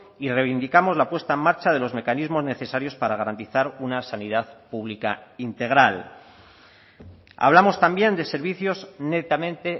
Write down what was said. y reivindicamos la puesta en marcha de los mecanismos necesarios para garantizar una sanidad pública integral hablamos también de servicios netamente